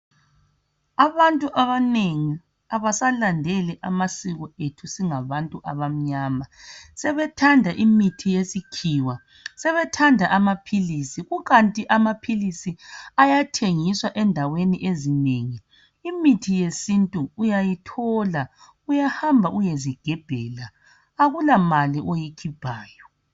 abantu abanengi abasalandeli amasiko ethu singabantu abamnyama sebethanda imithi yesikhiwa sebethanda amaphilisi kukanti amaphilisi ayathengiswa endawen ezinengi imithi yesintu uyayithola uyahlamba uyezigebhela akula mali oyikhiphayo